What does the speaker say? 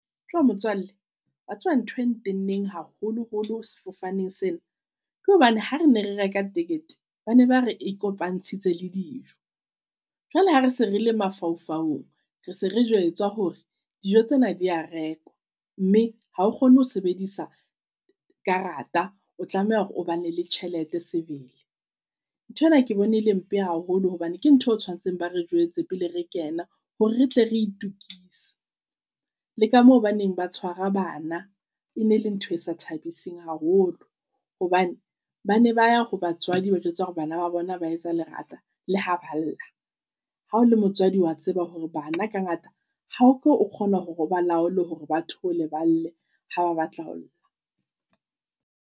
Tjo motswalle wa tseba ntho e na tenneng haholoholo sefofaneng sena, ke hobane ha re ne re reka ticket ba ne ba re e kopantshitse le dijo. Jwale ha re se re le mafaufaung, re se re jwetswa hore dijo tsena di a rekwa mme ha o kgone ho sebedisa karata. O tlameha hore o ba ne le tjhelete sebele. Nthwena ke bone e le mpe haholo hobane ke ntho e tshwanetseng ba re jwetse pele re kena hore re tle re itokisetsa. Le ka mo ba neng ba tshwara bana e ne e le ntho e sa thabiseng haholo. Hobane bane ba ya ho batswadi ba ba jwetsa hore bana ba bona ba etsa lerata le ha ba lla. Hao le motswadi wa tseba hore bana ka ngata ha ke o kgona hore o ba laole hore bathole ba lle ha ba batla ho lla.